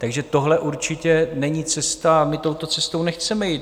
Takže tohle určitě není cesta a my touto cestou nechceme jít.